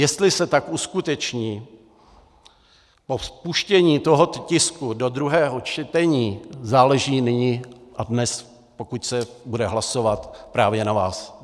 Jestli se tak uskuteční po vpuštění tohoto tisku do druhého čtení, záleží nyní a dnes, pokud se bude hlasovat, právě na vás.